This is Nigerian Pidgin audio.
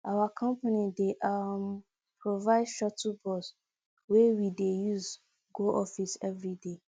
our company dey um provide shuttle bus wey we dey use go office every day